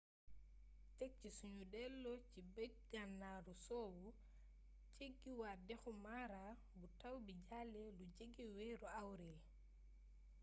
tek ci sunu delloo ci bëj-ganaaru soowu jeggiwaat dexu mara bu taw bi jàllee lu jege weeru awril